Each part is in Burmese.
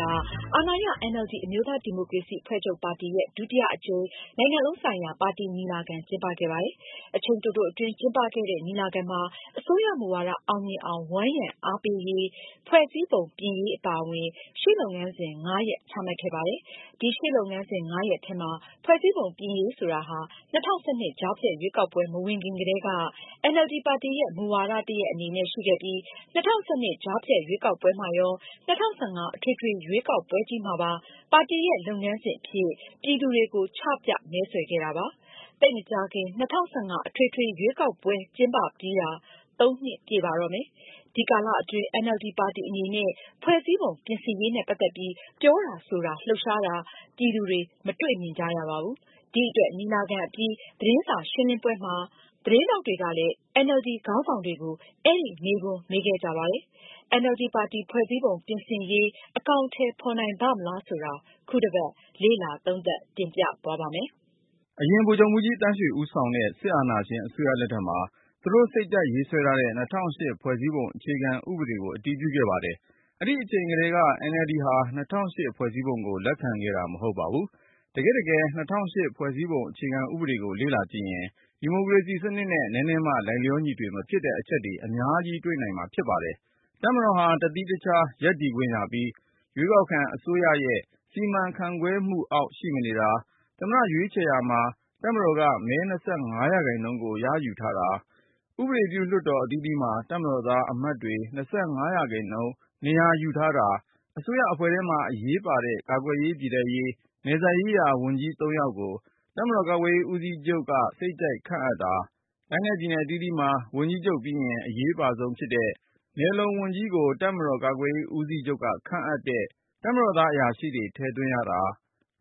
က အာဏာရ NLD အမျိုးသားဒီမိုကရေစီအဖွဲ့ချုပ် ပါတီရဲ့ ဒုတိယအကြိမ် နိုင်ငံလုံးဆိုင်ရာ ပါတီ ညီလာခံ ကျင်းပခဲ့ပါတယ်။ အချိန်တိုတိုအတွင်း ကျင်းပခဲ့တဲ့ ညီလာခံမှာ အစိုးရမူဝါဒ အောင်မြင်အောင် ဝန်းရံ အားပေးရေး၊ ဖွဲ့စည်းပုံ ပြင်ရေး အပါအဝင် ရှေ့လုပ်ငန်းစဉ် (၅) ရပ်ချမှတ်ခဲ့ပါတယ်။ ဒီရှေ့လုပ်ငန်းစဉ် (၅) ရပ်ထဲမှာ ဖွဲ့စည်းပုံ ပြင်ရေး ဆိုတာဟာ ၂၀၁၂ ကြားဖြတ်ရွေးကောက်ပွဲ မဝင်ခင်ကတည်းက အင်န်အယ်လ်ဒီ ပါတီရဲ့ မူဝါဒ တရပ် အနေနဲ့ ရှိခဲ့ပြီး ၂၀၁၂ ကြားဖြတ်ရွေးကောက်ပွဲမှာရော၊ ၂၀၁၅ အထွေထွေရွေးကောက်ပွဲကြီး မှာပါ ပါတီရဲ့ လုပ်ငန်းစဉ်အဖြစ် ပြည်သူတွေကို ချပြ မဲဆွယ်ခဲ့တာပါ။ သိပ်မကြာခင် ၂၀၁၅ အထွေထွေ ရွေးကောက်ပွဲ ကျင်းပပြီးတာ ၃ နှစ် ပြည့်ပါတော့မယ်။ ဒီကာလအတွင်း NLD ပါတီ အနေနဲ့ ဖွဲ့စည်းပုံ ပြင်ဆင်ရေးနဲ့ ပတ်သက်ပြီး ပြောတာ၊ ဆိုတာ လှုပ်ရှားတာ ပြည်သူတွေ မတွေ့မြင်ကြရပါဘူး။ ဒီအတွက် ညီလာခံ အပြီး သတင်းစာရှင်းလင်းပွဲမှာ သတင်းထောက်တွေကလည်း NLD ခေါင်းဆောင်တွေကို အဲဒီ မေးခွန်း မေးခဲ့ကြပါတယ်။ NLD ပါတီ ဖွဲ့စည်းပုံ ပြင်ဆင်ရေး အကောင်အထည် ဖော်နိုင်ပါ့မလား ဆိုတာ ခုတပတ် လေ့လာသုံးသပ် တင်ပြသွားပါ့မယ်။ အရင် ဗိုလ်ချုပ်မှူးကြီးသန်းရွှေ ခေါင်းဆောင်တဲ့ စစ်အာဏာရှင် အစိုးရလက်ထက်မှာ သူတို့ စိတ်ကြိုက်ရေးဆွဲထားတဲ့ ၂၀၀၈ ဖွဲ့စည်းပုံ အခြေခံဥပဒေကို အတည်ပြုခဲ့ပါတယ်။ အဲဒီအချိန်ကတည်းက NLD ဟာ ၂၀၀၈ ဖွဲ့စည်းပုံကို လက်ခံခဲ့တာ မဟုတ်ပါဘူး။ တကယ့်တကယ် ၂၀၀၈ ဖွဲ့စည်းပုံ အခြေခံဥပဒေကို လေ့လာကြည့်ရင် ဒီမိုကရေစီစနစ်နဲ့ နည်းနည်းမှ လိုက်လျောညီထွေ မဖြစ်တဲ့ အချက်တွေ အများကြီး တွေ့မြင်နိုင်ပါတယ်။ တပ်မတော်ဟာ တသီးတခြားစီ ရပ်တည်ခွင့်ရပြီး ရွေးကောက်ခံ အစိုးရရဲ့ စီမံခန့်ခွဲမှုအောက် ရှိမနေတာ၊ သမ္မတ ရွေးချယ်ရာမှာ တပ်မတော်က မဲ ၂၅ ရာခိုင်နှုန်းကို ရယူထားတာ၊ ဥပဒေပြု လွှတ်တော် အသီးသီးမှာ တပ်မတော်သား အမတ်တွေက ၂၅ ရာခိုင်နှုန်း နေရာယူထားတာ၊ အစိုးရအဖွဲ့မှာ အရေးပါတဲ့ ကာကွယ်ရေး၊ ပြည်ထဲရေး၊ နယ်စပ်ရေးရာ ဝန်ကြီးသုံးယောက်ကို တပ်မတော်ကာကွယ်ရေး ဦးစီးချုပ်က စိတ်ကြိုက်ခန့်နိုင်တာ၊ တိုင်းနဲ့ပြည်နယ် အသီးသီးမှာ ဝန်ကြီးချုပ်ပြီးရင် အရေးအပါဆုံးဖြစ်တဲ့ လုံနယ်ဝန်ကြီးကို တပ်မတော်ကာကွယ်ရေး ဦးစီးချုပ်က ခန့်အပ်တဲ့ တပ်မတော်သား အရာရှိတွေ ထည့်သွင်းရတာ၊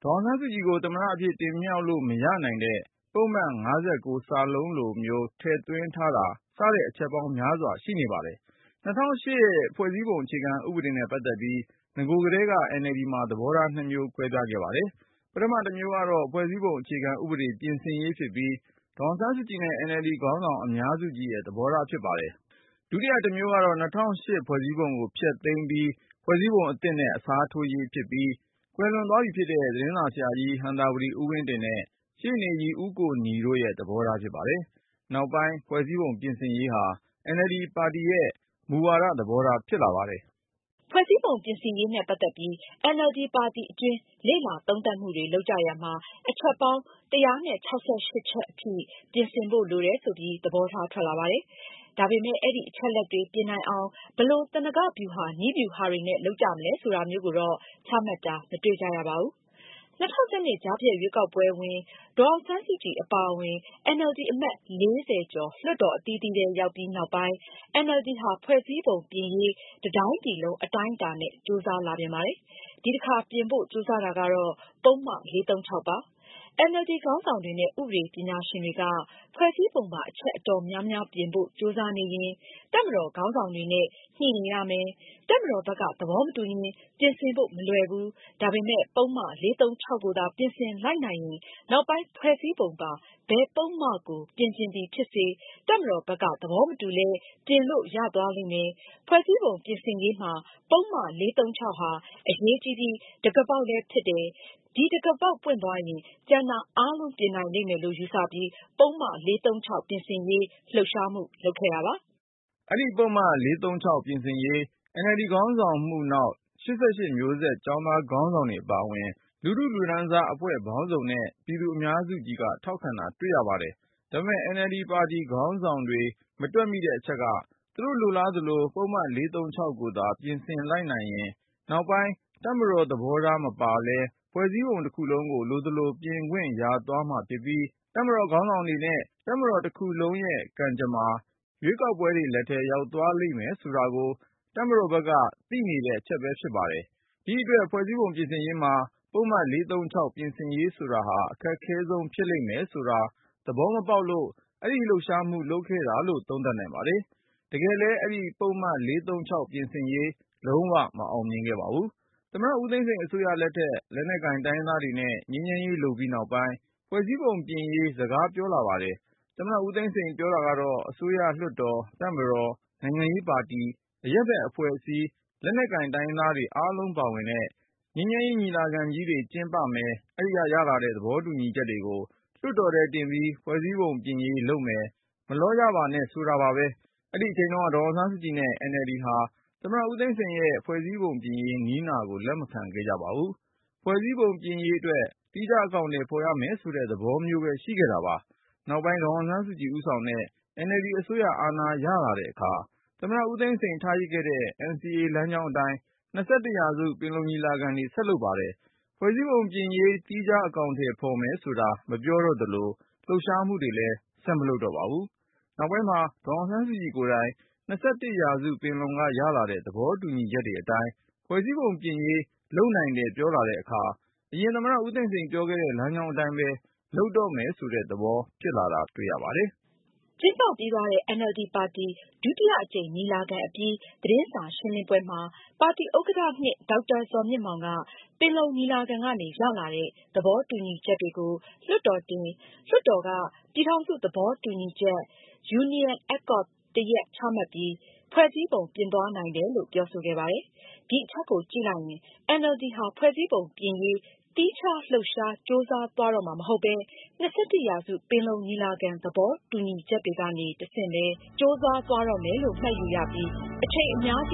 ဒေါ်အောင်ဆန်းစုကြည်ကို သမ္မတအဖြစ် တင်မြှောက်လို့ မရနိုင်တဲ့ ပုဒ်မ ၅၉(စ) လိုမျိုးကို ထည့်သွင်းထားတာ စတဲ့ အချက်ပေါင်းများစွာ ပါရှိနေပါတယ်။ ၂၀၀၈ ဖွဲ့စည်းပုံအခြေခံဥပဒေနဲ့ ပတ်သက်ပြီး နဂိုတုန်းက NLD မှာ သဘောထား နှစ်မျိုး ကွဲပြားခဲ့ပါသေးတယ်။ ပထမ တစ်မျိုးကတော့ ဖွဲ့စည်းပုံ အခြေခံဥပဒေ ပြင်ဆင်ရေး ဖြစ်ပြီး ဒေါ်အောင်ဆန်းစုကြည်နဲ့ NLD ခေါင်းဆောင် အများစုကြီးရဲ့ သဘောထား ဖြစ်ပါတယ်။ ဒုတိယ တမျိုးကတော့ ၂၀၀၈ ဖွဲ့စည်းပုံကို ဖျက်သိမ်း၊ ဖွဲ့စည်းပုံ အသစ်နဲ့ အစားထိုးရေး ဖြစ်ပြီး ကွယ်လွန်သွားပြီဖြစ်တဲ့ သတင်းစာဆရာကြီး ဟံသာဝတီ ဦးဝင်းတင်နဲ့ ရှေ့နေကြီး ဦးကိုနီတို့ရဲ့ သဘောထားဖြစ်ပါတယ်။ နောက်ပိုင်း ဖွဲ့စည်းပုံ ပြင်ဆင်ရေးဟာ NLD ပါတီရဲ့ မူဝါဒ သဘောထား ဖြစ်လာပါတယ်။ ဖွဲ့စည်းပုံပြင်ဆင်ရေးနဲ့ ပတ်သက်ပြီး NLD ပါတီအတွင်း လေ့လာသုံးသပ်မှုတွေ လုပ်ကြရာမှာ အချက်ပေါင်း ၁၆၈ ချက်အထိ ပြင်ဆင်ဖို့ လိုတယ် ဆိုပြီး သဘောထား ထွက်လာပါတယ်။ ဒါပေမယ့် အဲဒီအချက်အလက်တွေ ပြင်နိုင်အောင် ဘယ်လို သနင်္ဂဟဗျူဟာ နည်းဗျူဟာတွေနဲ့ လုပ်ကြမလဲ ဆိုတာမျိုးကိုတော့ ချမှတ်တာ မတွေ့ကြရပါဘူး။ ၂၀၁၂ ကြားဖြတ်ရွေးကောက်ပွဲဝင်၊ ဒေါ်အောင်ဆန်းစုကြည် အပါအဝင် NLD အမတ် ၄၀ကျော် လွှတ်တော် အသီးသီးထဲ ရောက်ပြီးနောက်ပိုင်း NLD ဟာ ဖွဲ့စည်းပုံပြင်ရေး တတိုင်းပြည်လုံး အတိုင်းအတာနဲ့ ကြိုးစားလာပြန်ပါတယ်။ ဒီအခါပြင်ဖို့ ကြိုးစားတာကတော့ ပုဒ်မ ၄၃၆ ပါ။ အင်န်အယ်လ်ဒီ ခေါင်းဆောင်တွေနဲ့ ဥပဒေ ပညာရှင်တွေက ဖွဲ့စည်းပုံပါ အချက်အတော်များများ ပြင်ဖို့ ကြိုးစားနေရင် တပ်မတော်ခေါင်းဆောင်တွေနဲ့ ညှိနေရမယ်၊ တပ်မတော်ဘက်က သဘောမတူရင် ပြင်ဆင်ဖို့ မလွယ်ဘူး၊ ဒါပေမယ့် ပုဒ်မ ၄၃၆ ကိုသာ ပြင်ဆင်လိုက်နိုင်ရင် နောက်ပိုင်း ဖွဲ့စည်းပုံပါ ဘယ်ပုဒ်မကို ပြင်ချင်သည်ဖြစ်စေ၊ တပ်မတော်ဘက်က သဘောမတူလဲ ပြင်လို့ ရသွားလိမ့်မယ်၊ ဖွဲ့စည်းပုံ ပြင်ဆင်ရေးမှာ ပုဒ်မ ၄၃၆ ဟာ အရေးကြီးပြီး တံခါးပေါက်လည်း ဖြစ်တယ်၊ ဒီတံခါးပေါက် ပွင့်သွားရင် ကျန်တာအားလုံး ပြင်နိုင်လိမ့်မယ်လို့ ယူဆပြီး ပုဒ်မ ၄၃၆ ပြင်ဆင်ရေး လှုပ်ရှားမှု လုပ်ခဲ့တာပါ။ အဲဒီ ပုဒ်မ ၄၃၆ ပြင်ဆင်ရေး NLD ခေါင်းဆောင်မှုနောက် ၈၈မျိုးဆက် ကျောင်းသားခေါင်းဆောင်တွေ အပါအဝင် လူထုလူတန်းစား အဖွဲ့ပေါင်းစုံနဲ့ ပြည်သူအများစုကြီးက ထောက်ခံတာတွေ့ရပါတယ်။ ဒါပေမယ့် NLD ခေါင်းဆောင်တွေ မတွက်မိတဲ့အချက်က သူတို့ လိုလားသလို ပုဒ်မ ၄၃၆ ကိုသာ ပြင်ဆင်လိုက်နိုင်ရင် နောက်ပိုင်း တပ်မတော် သဘောထား မပါလဲ ဖွဲ့စည်းပုံ တခုလုံး လိုသလို ပြင်ခွင့်ရသွားမှာဖြစ်ပြီး၊ တပ်မတော် ခေါင်းဆောင်တွေနဲ့ တပ်မတော် တခုလုံးရဲ့ ကံကြမ္မာ ရွေးကောက်ခံတွေ လက်ထဲ ရောက်သွားလိမ့်မယ် ဆိုတာကို တပ်မတော်ဘက်ကလည်း သိနေတဲ့ အချက်ပဲ ဖြစ်ပါတယ်။ ဒီအတွက် ဖွဲ့စည်းပုံပြင်ရေးမှာ ပုဒ်မ ၄၃၆ ပြင်ရေး ဆိုတာဟာ အခက်ခဲဆုံး ဖြစ်လိမ့်မယ်ဆိုတာ သဘောမပေါက်လို့ အဲဒီ လှုပ်ရှားမှု လုပ်ခဲ့တာလို့ သုံးသပ်နိုင်ပါတယ်။ တကယ်လည်း အဲဒီ ပုဒ်မ ၄၃၆ ပြင်ဆင်ရေး လုံး၀ မအောင်မြင်ခဲ့ပါဘူး။ သမ္မတ ဦးသိန်းစိန်အစိုးရလက်ထက် လက်နက်ကိုင် တိုင်းရင်းသားတွေနဲ့ ငြိမ်းချမ်းရေး လုပ်ပြီးနောက်ပိုင်း ဖွဲ့စည်းပုံပြင်ရေး စကားပြောလာပါတယ်။ သမ္မတ ဦးသိန်းစိန်ပြောတာကတော့ အစိုးရ၊ လွှတ်တော်၊ တပ်မတော်၊ နိုင်ငံရေးပါတီ၊ အရပ်ဘက် အဖွဲ့အစည်းတွေ၊ လက်နက်ကိုင် တိုင်းရင်းသားတွေ အားလုံးပါဝင်တဲ့ ငြိမ်းချမ်းရေး ညီလာခံကြီးတွေ ကျင်းပကြမယ်၊ အဲဒီက ရလာတဲ့ သဘောတူညီချက်တွေကို လွှတ်တော်ထဲတင်ပြီး ဖွဲ့စည်းပုံပြင်ရေး လုပ်မယ်၊ မလောကြပါနဲ့ ဆိုတာပါပဲ။ အဲဒီအချိန်တုန်းက ဒေါ်အောင်ဆန်းစုကြည်နဲ့ အင်န်အယ်လ်ဒီဟာ သမ္မတဦးသိန်းစိန်ရဲ့ ဖွဲ့စည်းပုံပြင်ရေး နည်းနာကို လက်မခံခဲ့ကြပါဘူး။ ဖွဲ့စည်းပုံပြင်ရေးအတွက် သီးခြား အကောင်အထည် ဖော်ရမယ် ဆိုတဲ့ သဘောထားမျိုးပဲ ရှိခဲ့တာပါ။ နောက်ပိုင်း ဒေါ်အောင်ဆန်းစုကြည် ဦးဆောင်တဲ့ NLD အစိုးရ အာဏာရလာတဲ့အခါ သမ္မတ ဦးသိန်းစိန် ထားရစ်ခဲ့တဲ့ NCA လမ်းကြောင်းအတိုင်း ၂၁ ရာစုပင်လုံ ငြိမ်းချမ်းရေးညီလာခံတွေ ဆက်လုပ်ပါတယ်။ ဖွဲ့စည်းပုံပြင်ရေး သီးခြား အကောင်အထည်ဖော်မယ် ဆိုတာ မပြောတော့သလို၊ လှုပ်ရှားမှုတွေလည်း ဆက်မလုပ်တော့ပါဘူး။ နောက်ပိုင်း ဒေါ်အောင်ဆန်းစုကြည်ကိုယ်တိုင် ၂၁ ရာစုပင်လုံက ရလာတဲ့ သဘောတူညီချက်တွေအတိုင်း ဖွဲ့စည်းပုံပြင်ရေး လုပ်နိုင်တယ် ပြောလာတဲ့အခါ အရင် သမ္မတ ဦးသိန်းစိန် ပြောခဲ့တဲ့ လမ်းကြောင်းအတိုင်းပဲ လုပ်တော့မယ် ဆိုတဲ့ သဘော ဖြစ်လာတာ တွေ့ရပါတယ်။ ကျင်းပပြီးသွားတဲ့ NLD ဒုတိယအကြိမ် ညီလာခံအပြီး သတင်းစာရှင်းလင်းပွဲမှာ ပါတီဒုဥက္ကဌ ၂ ဒေါက်တာဇော်မြင့်မောင်က ပင်လုံညီလာခံကနေ ရလာတဲ့ သဘောတူညီချက်တွေကို လွှတ်တော်တင်၊ လွှတ်တော်က ပြည်ထောင်စု သဘောတူညီချက် Union Accord တရပ် ချမှတ်ပြီး ဖွဲ့စည်းပုံ ပြင်သွားနိုင်တယ်လို့ ပြောဆိုခဲ့ပါတယ်။ ဒီအချက်ကို ကြည့်လိုက်ရင် NLD ဟာ ဖွဲ့စည်းပုံပြင်ရေး သီးခြား လှုပ်ရှား၊ ကြိုးစားသွားတော့မှာမဟုတ်ပဲ ၂၁ ရာစု ပင်လုံညီလာခံ သဘောတူညီချက်တွေကနေ တဆင့်ပဲ ကြိုးစားသွားတော့မယ်လို့ မှတ်ယူရပြီး အချိန်အများကြီ